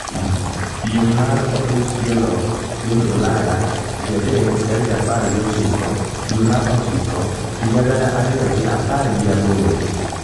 piem mar opich tielo piny Ulaya tich adek tarik apar gi ochiko dwe mar ochiko higa gana ariyo gi apar gi aboro